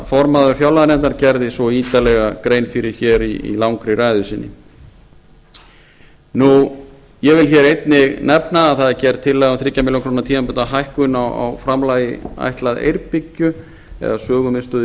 varaformaður fjárlaganefndar gerði svo ítarlega grein fyrir í langri ræðu sinni ég vil einnig nefna að það er gerð tillaga um þriggja milljóna króna tímabundna hækkun á framlagi ætlað eyrbyggju eða sögumiðstöð í